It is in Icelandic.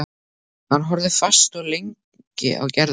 Hann horfði fast og lengi á Gerði.